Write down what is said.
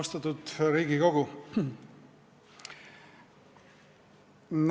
Austatud Riigikogu!